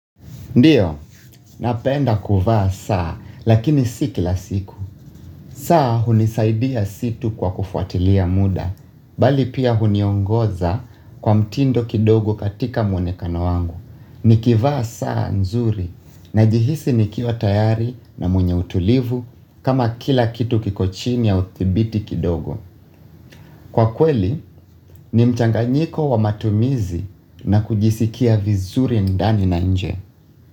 Ndiyo, napenda kuvaa saa, lakini si kila siku. Saa hunisaidia si tu kwa kufuatilia muda, bali pia huniongoza kwa mtindo kidogo katika mwonekano wangu. Nikivaa saa nzuri, najihisi nikiwa tayari na mwenye utulivu, kama kila kitu kiko chini ya uthibiti kidogo. Kwa kweli, ni mchanganyiko wa matumizi na kujisikia vizuri ndani na nje.